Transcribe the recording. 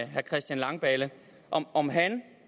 herre christian langballe om om han